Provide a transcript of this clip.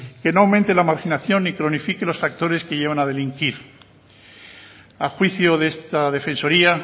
que no aumente la marginación y cronifique los factores que llevan a delinquir a juicio de esta defensoría